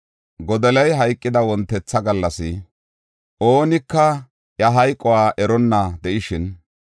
Godoliya hayqida wontetha gallas, oonika iya hayquwa eronna de7ishin,